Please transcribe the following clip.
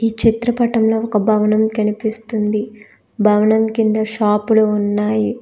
ఈ చిత్రపటంలో ఒక భవనం కనిపిస్తుంది భవనం కింద షాపులు ఉన్నాయి.